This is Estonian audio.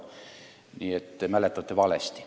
Nii et te mäletate valesti.